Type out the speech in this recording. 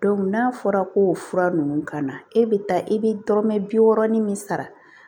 n'a fɔra k'o fura ninnu ka na e bɛ taa i bɛ dɔrɔmɛ bi wɔɔrɔ ni min sara